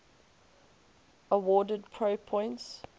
awarded pro points